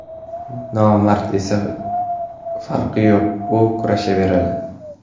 Nomardga esa farqi yo‘q, u kurashaveradi.